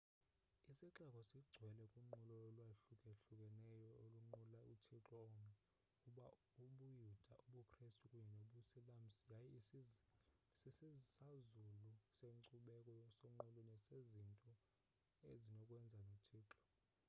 isixeko singcwele kunqulo olwahlukahlukeneyo olunqula uthixo omnye ubuyuda ubukrestu kunye nobusilamsi yaye sisisazulu senkcubeko sonqulo nesezinto ezinokwenza nothixo